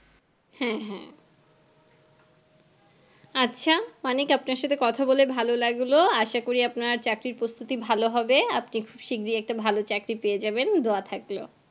হ্যাঁ হ্যাঁ আচ্ছা অনেক আপনার সাথে কথা বলে ভালো লাগলো আশা করি আপনার চাকরির প্রস্তুতি ভালো হবে আপনি খুব শিগগিরি একটা ভালো চাকরি পেয়ে যাবেন দোয়া থাকলো